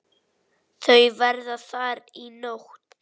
Þau verða þar í nótt.